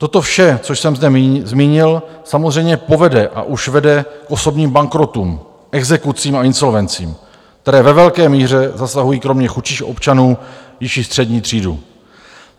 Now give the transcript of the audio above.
Toto vše, co jsem zde zmínil, samozřejmě povede a už vede k osobním bankrotům, exekucím a insolvencím, které ve velké míře zasahují kromě chudších občanů již i střední třídu.